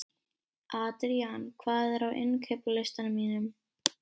Adrían, hvað er á innkaupalistanum mínum?